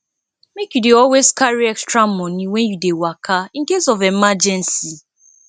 make you dey always carry extra money wen you dey waka in case of emergency